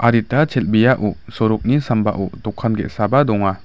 chel·beao sorokni sambao dokan ge·saba donga.